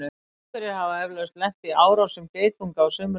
einhverjir hafa eflaust lent í árásum geitunga á sumrin